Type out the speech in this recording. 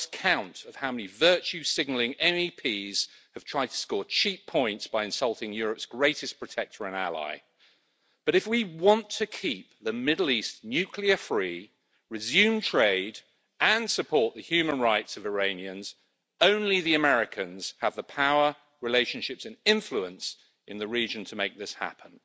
I've lost count of how many virtue signalling MEPs have tried to score cheap points by insulting Europe's greatest protector and ally, but if we want to keep the Middle East nuclear free, resume trade, and support the human rights of Iranians, only the Americans have the power, relationships and influence in the region to make this happen.